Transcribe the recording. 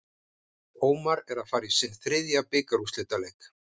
Ómar er að fara í sinn þriðja bikarúrslitaleik.